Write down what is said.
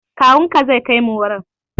Kawunka zai kaimu wurin.